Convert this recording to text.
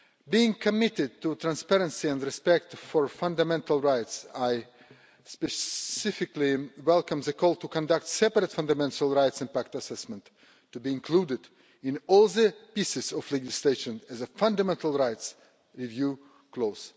Being committed to transparency and respect for fundamental rights, I specifically welcome the call to conduct separate fundamental rights impact assessments, to be included in all items of legislation as a fundamental rights review clause.